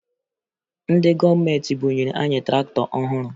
Ndị gọọmenti bunyere anyị traktọ ọhụrụ